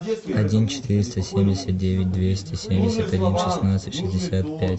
один четыреста семьдесят девять двести семьдесят один шестнадцать шестьдесят пять